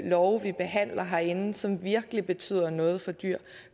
love vi behandler herinde som virkelig betyder noget for dyr